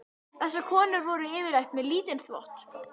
Þessar konur voru yfirleitt með lítinn þvott.